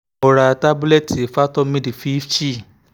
mo ra tábúlẹ́ẹ̀tì fertomid fifty